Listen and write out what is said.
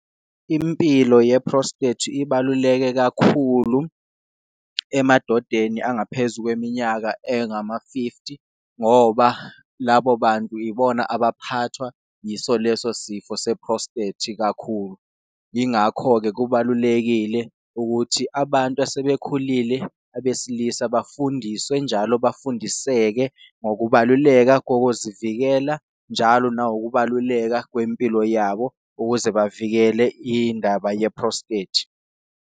Impilo ye-prostate ibaluleke kakhulu emadodeni angaphezu kweminyaka engama-fifty, ngoba labo bantu ibona abaphathwa yiso leso sifo se-prostate kakhulu. Yingakho-ke kubalulekile ukuthi abantu asebekhulile abesilisa bafundiswe njalo bafundiseke ngokubaluleka kokuzivikela, njalo nangokubaluleka kwempilo yabo ukuze bavikele indaba ye-prostate.